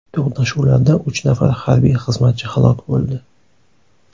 To‘qnashuvlarda uch nafar harbiy xizmatchi halok bo‘ldi.